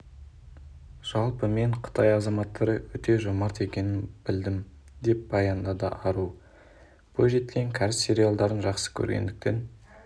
жалпы мен қытай азаматтары өте жомарт екенін білдім деп баяндады ару бойжеткен кәріс сериалдарын жақсы көргендіктен